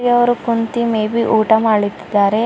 ಇಲ್ಲಿ ಅವರು ಕುಂತಿ ಮೇ ಬಿ ಊಟ ಮಾಡ್ಲಿತಿದ್ದಾರೆ.